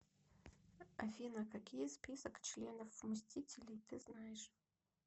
афина какие список членов мстителей ты знаешь